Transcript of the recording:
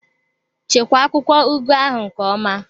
Chekwaa akwụkwọ ugu ahụ nke ọma!